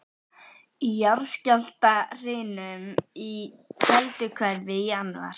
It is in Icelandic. Í jarðskjálftahrinum í Kelduhverfi í janúar